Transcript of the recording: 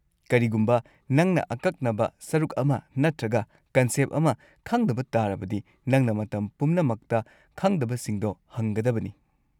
ꯀꯔꯤꯒꯨꯝꯕ ꯅꯪꯅ ꯑꯀꯛꯅꯕ ꯁꯔꯨꯛ ꯑꯃ ꯅꯠꯇ꯭ꯔꯒ ꯀꯟꯁꯦꯞ ꯑꯃ ꯈꯪꯗꯕ ꯇꯥꯔꯕꯗꯤ ꯅꯪꯅ ꯃꯇꯝ ꯄꯨꯝꯅꯃꯛꯇ ꯈꯪꯗꯕꯁꯤꯡꯗꯣ ꯍꯪꯒꯗꯕꯅꯤ꯫